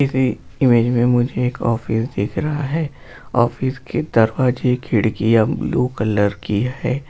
इस इमेज मे मुझे एक ऑफिस दिख रहा है ऑफिस की दरवाजे खिड़कियाँ ब्लू कलर की है।